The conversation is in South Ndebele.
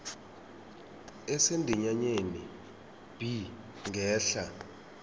esendinyaneni b ngehla